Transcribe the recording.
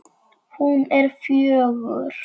Hún er fjögur.